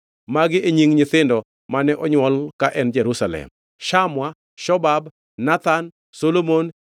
Magi e nying nyithindo mane onywolo ka en Jerusalem: Shamua, Shobab, Nathan, Solomon,